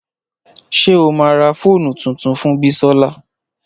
Ṣé o ma ra fóònù tuntun fún Bisola?